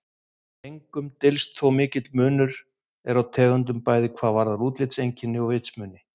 Engum dylst þó að mikill munur er á tegundunum bæði hvað varðar útlitseinkenni og vitsmuni.